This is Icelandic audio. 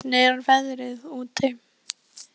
Svanrós, hvernig er veðrið úti?